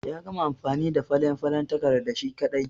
Ya gama amfani da falen falen takarda shi ƙadai.